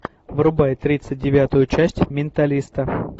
врубай тридцать девятую часть менталиста